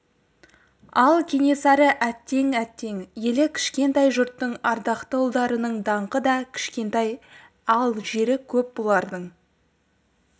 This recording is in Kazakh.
ал кенесары әттең әттең елі кішкентай жұрттың ардақты ұлдарының даңқы да кішкентай ал жері көп бұлардың